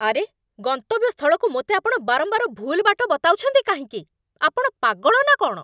ଆରେ! ଗନ୍ତବ୍ୟସ୍ଥଳକୁ ମୋତେ ଆପଣ ବାରମ୍ବାର ଭୁଲ୍ ବାଟ ବତାଉଛନ୍ତି କାହିଁକି? ଆପଣ ପାଗଳ ନା କ'ଣ?